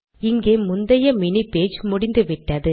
இங்கே முந்தைய மினி pageமுடிந்துவிட்டது